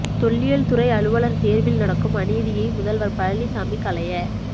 தொல்லியல்துறை அலுவலர் தேர்வில் நடக்கும் அநீதியை முதல்வர் பழனிசாமி களைய